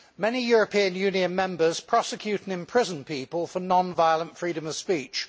Many European Union members prosecute and imprison people for non violent freedom of speech.